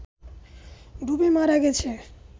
ডুবে মারা গেছে